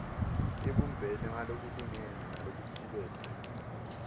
ibumbene ngalokulingene nalokucuketfwe